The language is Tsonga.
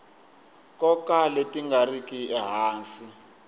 nkoka leti nga riki ehansi